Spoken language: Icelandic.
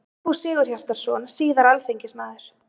Sigfús Sigurhjartarson, síðar alþingismaður.